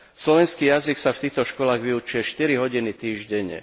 Slovenský jazyk sa v týchto školách vyučuje štyri hodiny týždenne.